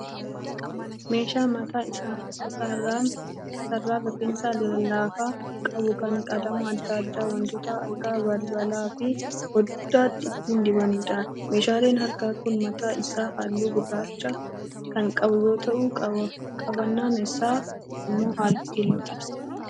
Meeshaa mataa isaarraan rifeensa lallaafaa qabu kan qalama adda addaa wantoota akka balbalaa fi foddaatti ittin dibaniidha. Meeshaan harkaa kun mataan isaa halluu gurraacha kan qabu yoo ta'u qabannoon isaa immoo halluu keelloo qaba.